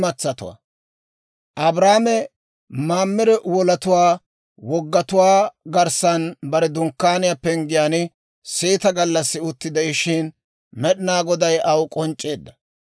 Abrahaame Mamire wolatuwaa wogatuwaa garssan bare dunkkaaniyaa penggiyaan seeta gallassi utti de'ishshin, Med'inaa Goday aw k'onc'c'eedda.